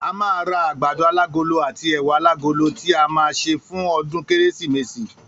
A máa ra àgbàdo alágolo àti è̩wà alágolo tí a má a sè fún o̩dún kérésìmesì